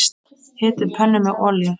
Hitið pönnu með olíu.